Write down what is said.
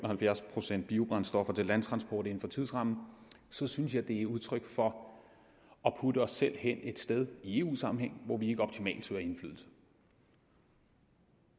procent biobrændstoffer til landtransport inden for tidsrammen så synes jeg det er udtryk for at putte os selv hen et sted i eu sammenhæng hvor vi ikke optimalt søger indflydelse